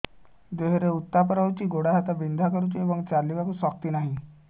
ଦେହରେ ଉତାପ ରହୁଛି ଗୋଡ଼ ହାତ ବିନ୍ଧା କରୁଛି ଏବଂ ଚାଲିବାକୁ ଶକ୍ତି ନାହିଁ